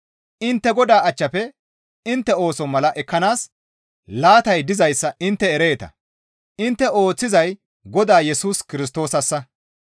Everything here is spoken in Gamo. Intte Godaa achchafe intte ooso mala ekkanaas laatay dizayssa intte ereeta; intte ooththizay Godaa Yesus Kirstoosassa.